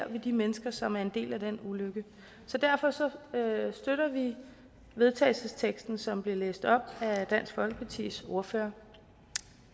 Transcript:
ved de mennesker som er en del af den ulykke så derfor støtter vi vedtagelsesteksten som blev læst op af dansk folkepartis ordfører